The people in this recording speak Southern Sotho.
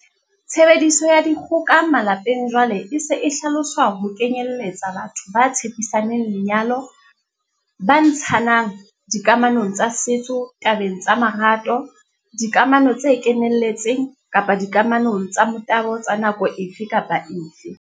Tshebediso ya dikgoka malepeng jwale e se e hlaloswa ho kenyelletsa batho ba tshepisaneng lenyalo, ba ntshananng, dikamanong tsa setso tabeng tsa marato, dikamano tse kenelletseng, kapa dikamanong tsa motabo tsa nako efe kapa efe.